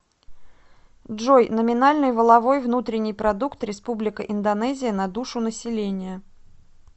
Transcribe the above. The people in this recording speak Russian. джой номинальный валовой внутренний продукт республика индонезия на душу населения